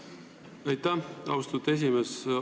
Aitäh, austatud esimees!